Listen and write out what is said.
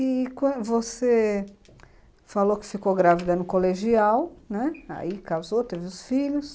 E você falou que ficou grávida no colegial, né, aí casou, teve os filhos.